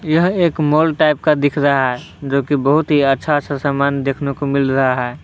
यह एक mall type का दिख रहा है जोकि बहुत ही अच्छा अच्छा समान देखने को मिल रहा है।